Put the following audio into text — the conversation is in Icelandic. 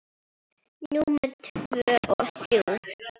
Númer tvö og þrjú.